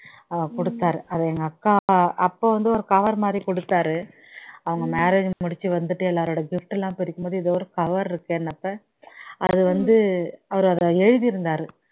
கொடுத்தாரு அது எங்க அக்கா அப்போ வந்து ஒரு cover மாதிரி கொடுத்தாரு அவங்க marriage முடிச்சி வந்துட்டு எல்லாருடைய gift லாம் பிரிக்கும்போது ஏதோ ஒரு cover இருக்கேன்னாக்கா அது வந்து அவர் அதுல எழுதி இருந்தாரு